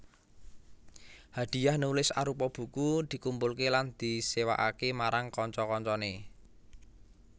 Hadiah nulis arupa buku dikumpulke lan disewakake marang kanca kancane